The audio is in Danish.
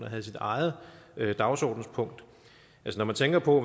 at have sit eget dagsordenspunkt når man tænker på